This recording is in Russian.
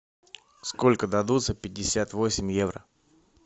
сколько дадут за пятьдесят восемь евро